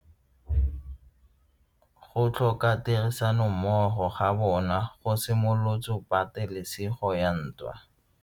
Go tlhoka tirsanommogo ga bone go simolotse patelesego ya ntwa.